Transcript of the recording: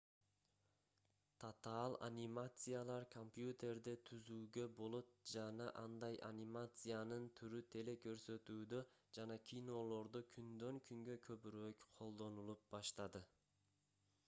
татаал анимациялар компьютерде түзүүгө болот жана андай анимациянын түрү телекөрсөтүүдө жана кинолордо күндөн-күнгө көбүрөөк колдонулуп баштады